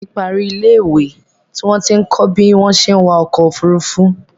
Ẹ̀gbọ́n mi parí ní ilé ìwé tí wọ́n ti ń kọ bí wọ́n ṣé wa ọkọ òfúrúúfú